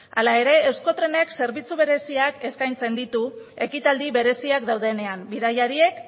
hala ere euskotrenek zerbitzu bereziak eskaintzen ditu ekitaldi bereziak daudenean bidaiariek